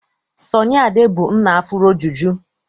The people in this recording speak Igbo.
Sọnị Ade bụ nna afuro juju.